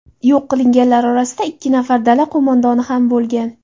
Yo‘q qilinganlar orasida ikki nafar dala qo‘mondoni ham bo‘lgan.